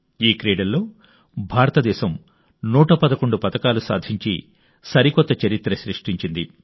ఈ క్రీడల్లో భారత దేశం 111 పతకాలు సాధించి సరికొత్త చరిత్ర సృష్టించింది